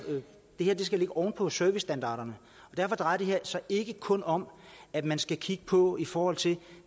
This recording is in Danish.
skal ligge oven på servicestandarderne og derfor drejer det her sig ikke kun om at man skal kigge på det i forhold til